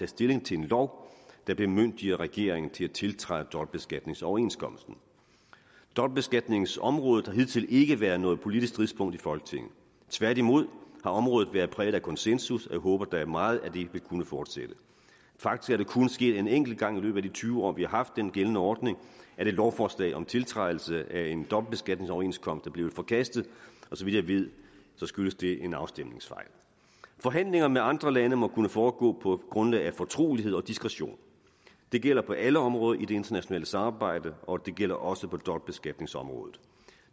stilling til en lov der bemyndiger regeringen til at tiltræde dobbeltbeskatningsoverenskomsten dobbeltbeskatningsområdet har hidtil ikke været noget politisk stridspunkt i folketinget tværtimod har området været præget af konsensus og jeg håber da meget at det vil kunne fortsætte faktisk er det kun sket en enkelt gang i løbet af de tyve år vi har haft den gældende ordning at et lovforslag om tiltrædelse af en dobbeltbeskatningsoverenskomst er blevet forkastet og så vidt jeg ved skyldtes det en afstemningsfejl forhandlinger med andre lande må kunne foregå på et grundlag af fortrolighed og diskretion det gælder på alle områder i det internationale samarbejde og det gælder også på dobbeltbeskatningsområdet